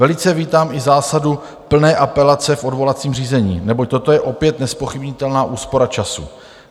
Velice vítám i zásadu plné apelace v odvolacím řízení, neboť toto je opět nezpochybnitelná úspora času.